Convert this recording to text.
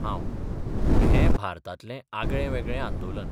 हांबः पूण हें भारतांतलें आगळे वेगळें आंदोलन.